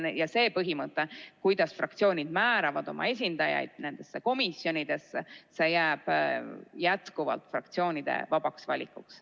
Ja see põhimõte, kuidas fraktsioonid määravad oma esindajaid nendesse komisjonidesse, jääb jätkuvalt fraktsioonide vabaks valikuks.